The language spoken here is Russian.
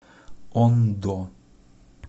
ондо